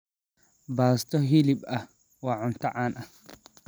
Baasto hilib ah waa cunto caan ah.